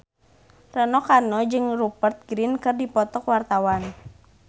Rano Karno jeung Rupert Grin keur dipoto ku wartawan